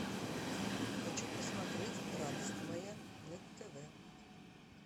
хочу посмотреть радость моя на тв